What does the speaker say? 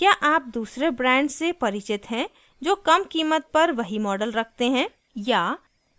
क्या आप दूसरे ब्रांड्स से परिचित हैं जो कम कीमत पर वही मॉडल रखते हैं